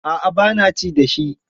A'a ba na ci da shi.